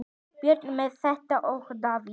Börn þeirra Metta og Davíð.